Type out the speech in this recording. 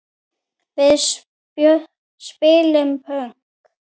Við spilum pönk!